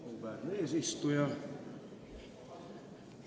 Auväärne eesistuja!